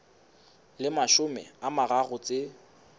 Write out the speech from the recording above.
le mashome a mararo tse